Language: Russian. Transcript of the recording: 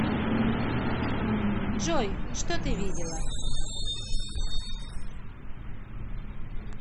джой что ты видела